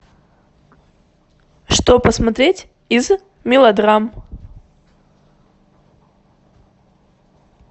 что посмотреть из мелодрам